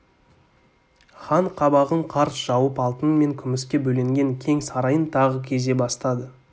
хан қабағын қарс жауып алтын мен күміске бөленген кең сарайын тағы кезе бастады